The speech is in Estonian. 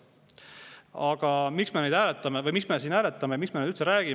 Aga miks me neid siin hääletame ja miks me neist üldse räägime?